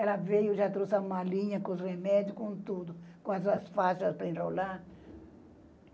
Ela veio, já trouxe a malinha, com os remédios, com tudo, com as, as faixas para enrolar.